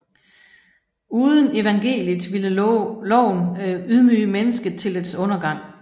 Uden evangeliet ville loven ydmyge mennesket til dets undergang